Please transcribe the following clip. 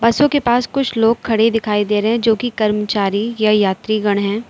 बसों के पास कुछ लोग खड़े दिखाई दे रहे जोकि कर्मचारी या यात्रीगण है।